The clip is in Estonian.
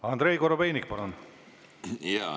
Andrei Korobeinik, palun!